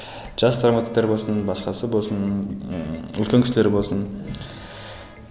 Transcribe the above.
жас драматургтер болсын басқасы болсын ыыы үлкен кісілер болсын